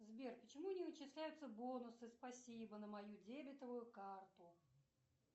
сбер почему не начисляются бонусы спасибо на мою дебетовую карту